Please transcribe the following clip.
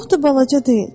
Çox da balaca deyil.